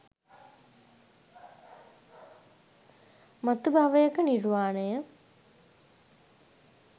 මතු භවයක නිර්වාණය